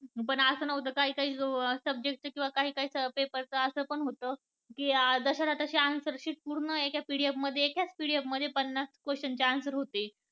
पण असं नव्हतं काही, काही subject चे किंवा काही काही subject च असं पण होत की जस च्या तशी answer sheet पूर्ण एका PDF मध्ये पन्नास question चे answer होते.